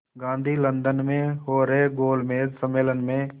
Gandhi London में हो रहे गोलमेज़ सम्मेलन में